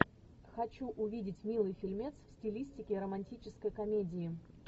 хочу увидеть милый фильмец в стилистике романтической комедии